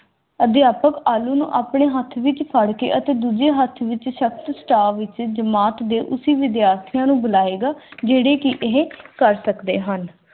ਅਧਿਆਪਕ ਆਲੂ ਨੂੰ ਆਪਣੇ ਹੱਥ ਵਿਚ ਫੜਕੇ ਅਤੇ ਦੂਜੇ ਹੱਥ ਵਿਚ ਜਮਾਤ ਵਿਚ ਦੇ ਉਸੀ ਵਿਦਿਆਰਥੀਆਂ ਨੂੰ ਬੁਲਾਏਗਾ ਜਿਹੜੇ ਕੀ ਇਹ ਕਰ ਸਕਦੇ ਹਨ।